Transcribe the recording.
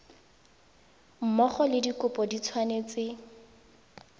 mmogo le dikopo di tshwanetse